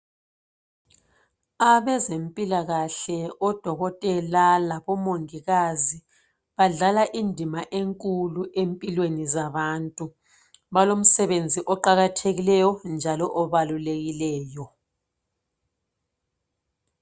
Abezempilakahle odokotela labomongikazi badlala indima enkulu empilweni zabantu balomsebenzi oqakathekileyo njalo obalulekileyo.